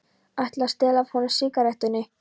Ætli að stela af honum sígarettunni.